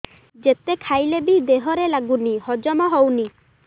ଯେତେ ଖାଇଲେ ବି ଦେହରେ ଲାଗୁନି ହଜମ ହଉନି